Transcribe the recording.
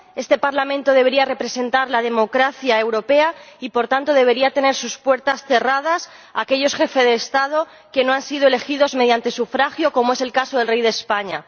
Este Parlamento debería representar la democracia europea y, por tanto, debería tener sus puertas cerradas a aquellos jefes de Estado que no han sido elegidos mediante sufragio, como es el caso del rey de España.